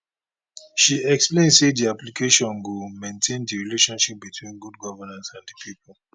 she explain say di application go maintain di relationship between good governance and di pipo